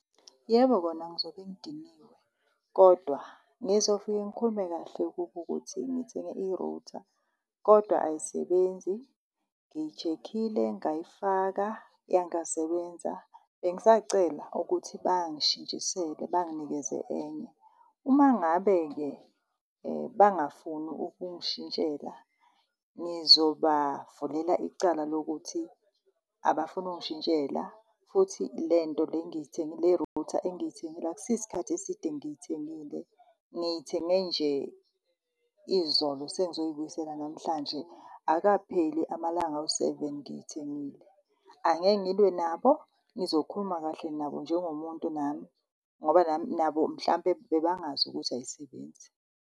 Yebo, kona ngizobe ngidiniwe kodwa ngizofike ngikhulume kahle kubo ukuthi ngithenge i-router kodwa ayisebenzi, ngiyi-check-ile ngayifaka yangasebenza. Bengisacela ukuthi bangishintshisele banginikeze enye. Uma ngabe-ke, bangafuni ukungishintshela, ngizobavulela icala lokuthi abafuni ukungishintshela futhi le nto le engiyithengile, le router engiyithengile akusi isikhathi eside ngiyithengile, ngiyithenge nje izolo sengizoyibuyisela namhlanje akukapheli amalanga awu-seven ngiyithengile. Angeke ngilwe nabo, ngizokhuluma kahle nabo njengomuntu nami ngoba nami, nabo mhlampe bebangazi ukuthi ayisebenzi.